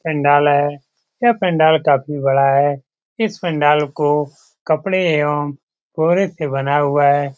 पंडाल है यह पंडाल काफी बड़ा है इस पंडाल को कपड़े एवं से बना हुआ है।